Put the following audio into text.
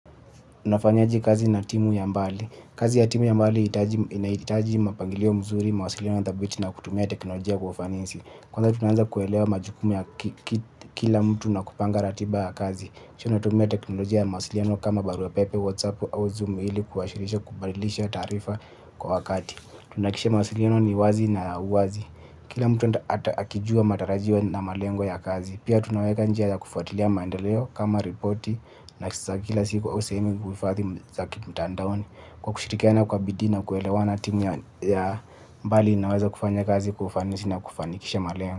Unafanyaje kazi na timu ya mbali? Kazi ya timu ya mbali inahitaji mpangilio mzuri, mawasiliano ya mara kwa mara na kutumia teknolojia kwa ufanisi. Kwanza tunaanza kuelewa majukumu ya kila mtu na kupanga ratiba ya kazi. Tunatumia teknolojia ya mawasiliano kama barua pepe, WhatsApp au Zoom ili kushirikisha na kubadilishana taarifa kwa wakati. Tunahakikisha mawasiliano ni wazi na wazi. Kila mtu akijua matarajio na malengo ya kazi. Pia tunaweka njia ya kufuatilia maendeleo kama ripoti na vikao vya kila siku au kila wiki mtandaoni. Kwa kushirikiana kwa bidii na kuelewana, timu ya mbali inaweza kufanya kazi kwa ufanisi na kufanikisha malengo.